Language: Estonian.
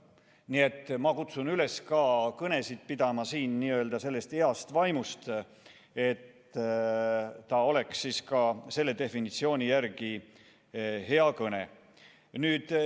Nii et ma kutsun üles ka kõnesid pidama sellest heast vaimust lähtudes, et oleks ka selle definitsiooni järgi hea kõne.